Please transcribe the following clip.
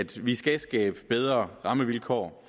vi skal skabe bedre rammevilkår